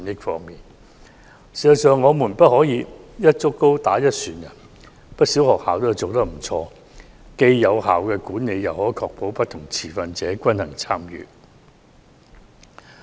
事實上，我們不能"一竹篙打一船人"，不少學校做得不錯，既有效管理又可確保不同持份者均衡參與。